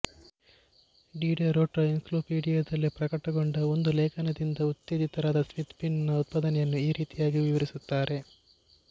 Diderot ರ Encyclopedie ನಲ್ಲಿ ಪ್ರಕಟಗೊಂಡ ಒಂದು ಲೇಖನದಿಂದ ಉತ್ತೇಜಿತರಾದ ಸ್ಮಿತ್ ಪಿನ್ ನ ಉತ್ಪಾದನೆಯನ್ನು ಈ ರೀತಿಯಾಗಿ ವಿವರಿಸುತ್ತಾರೆ